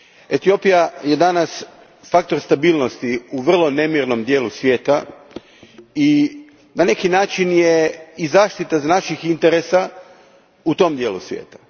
Etiopija je danas faktor stabilnosti u vrlo nemirnom dijelu svijeta i na neki način je zaštita naših interesa u tom svijeta.